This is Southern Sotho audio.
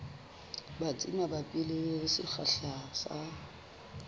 batsi mabapi le sekgahla sa